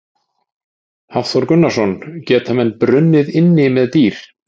Hafþór Gunnarsson: Geta menn brunnið inni með dýr?